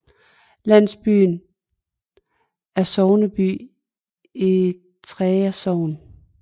Landsbyen er sogneby i Treja Sogn